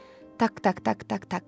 Tak-tak, tak-tak, tak.